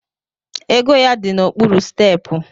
Ego ya di n’okpuru stepu